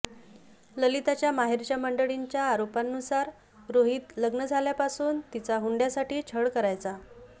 ललिताच्या माहेरच्या मंडळींच्या आरोपांनुसार रोहित लग्न झाल्यापासून तिचा हुंडयासाठी छळ करायचा